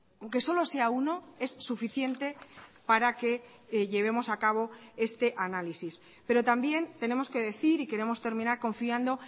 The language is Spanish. aunque solo sea uno es suficiente para que llevemos a cabo este análisis pero también tenemos que decir y queremos terminar confiando